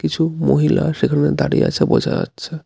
কিছু মহিলা সেখানে দাঁড়িয়ে আছে বোঝা যাচ্ছে.